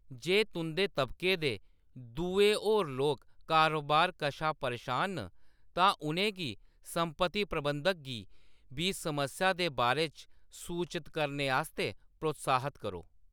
जे तुंʼदे तबके दे दुए होर लोक कारोबार कशा परेशान न, तां उʼनें गी सम्पत्ति प्रबंधक गी बी समस्या दे बारे च सूचत करने आस्तै प्रोत्साह्‌त करो।